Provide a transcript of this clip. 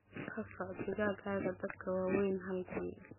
Ka sooc digaagga dadka waaweyn hal bil.